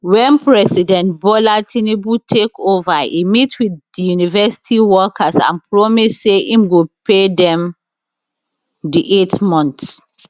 wen president bola tinubu take ova e meet wit di university workers and promise say im go pay dem di eight months